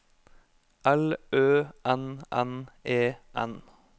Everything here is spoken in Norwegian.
L Ø N N E N